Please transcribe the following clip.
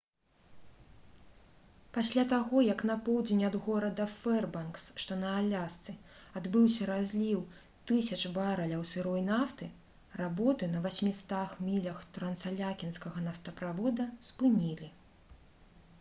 пасля таго як на поўдзень ад горада фэрбанкс што на алясцы адбыўся разліў тысяч барэляў сырой нафты работы на 800 мілях трансаляскінскага нафтаправода спынілі